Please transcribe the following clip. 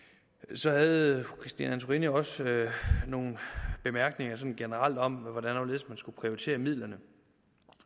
så havde fru christine antorini også nogle bemærkninger generelt om hvordan og hvorledes man skulle prioritere midlerne